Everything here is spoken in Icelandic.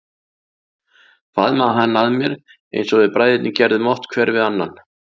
Faðmaði hann að mér eins og við bræðurnir gerðum oft hver við annan.